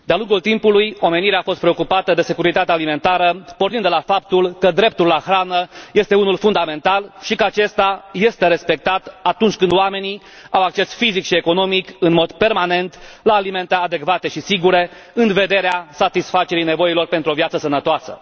Doamnă președintă, de a lungul timpului, omenirea a fost preocupată de securitatea alimentară, pornind de la faptul că dreptul la hrană este unul fundamental și că acesta este respectat atunci când oamenii au acces fizic și economic, în mod permanent, la alimente adecvate și sigure, în vederea satisfacerii nevoilor pentru o viață sănătoasă.